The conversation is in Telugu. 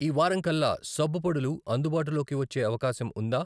ఈ వారం కల్లా సబ్బు పొడులు అందుబాటులోకి వచ్చే అవకాశం ఉందా?